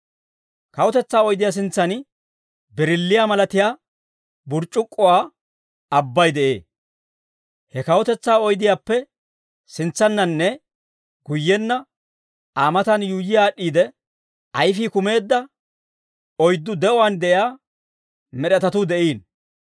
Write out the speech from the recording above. Kawutetsaa oydiyaa sintsan birilliyaa malatiyaa burc'c'ukkuwaa abbay de'ee. He kawutetsaa oydiyaappe sintsannanne guyyenna Aa matan yuuyyi aad'd'iide, ayfii kumeedda oyddu de'uwaan de'iyaa med'etatuu de'iino.